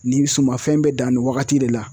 Nin sumanfɛn bɛ dan nin wagati de la